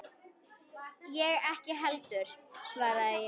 Ég ekki heldur, svaraði ég.